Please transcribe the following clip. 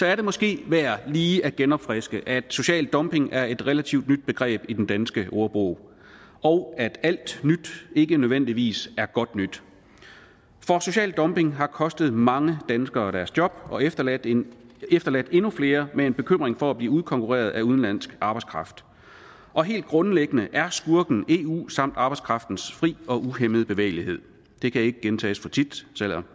er det måske værd lige at genopfriske at social dumping er et relativt nyt begreb i den danske ordbog og at alt nyt ikke nødvendigvis er godt nyt for social dumping har kostet mange danskere deres job og efterladt endnu efterladt endnu flere med en bekymring for at blive udkonkurreret af udenlandsk arbejdskraft og helt grundlæggende er skurken eu samt arbejdskraftens fri og uhæmmede bevægelighed det kan ikke gentages for tit selv om